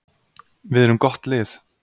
Við erum gott lið.